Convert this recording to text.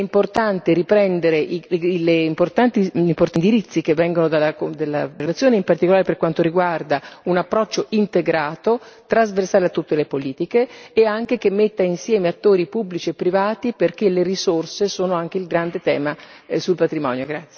È importante riprendere gli importanti indirizzi che vengono dalla relazione, in particolare per quanto riguarda un approccio integrato, trasversale a tutte le politiche, e anche che metta insieme attori pubblici e privati, perché le risorse sono anche il grande tema sul patrimonio.